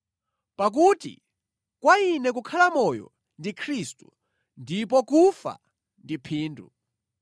Pakuti kwa ine kukhala moyo ndi Khristu ndipo kufa ndi phindu.